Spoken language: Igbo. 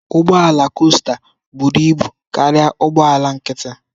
Ụgbọ ala costa buru ibu karịa ụgbọ ala nkịtị.